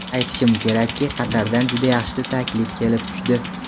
Aytishim kerakki, Qatardan juda yaxshi taklif kelib tushdi.